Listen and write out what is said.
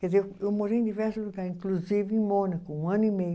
Quer dizer, eu morei em diversos lugares, inclusive em Mônaco, um ano e meio.